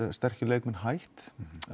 sterkir leikmenn hætt